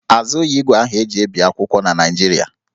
A zụghị ígwè ahụ e ji ebi akwụkwọ na Naịjirịa